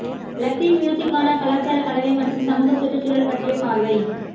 Latin மியூசிக்கான கலாச்சார கலவை மற்றும் சமூக சுற்றுச்சூழல் பற்றிய பார்வை